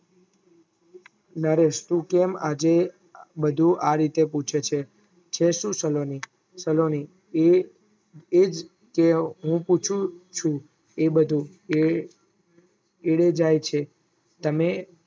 નરેશ તું કેમ આજે બધું આ રીતે પૂછે છે છે સુ સલોની સલોની એજ હું પુછુ ચુ એ બધું એ એ જાય છે, તમે